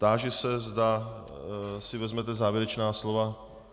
Táži se, zda si vezmete závěrečná slova.